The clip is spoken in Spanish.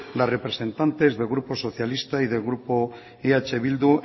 las representantes del grupo socialista y del grupo eh bildu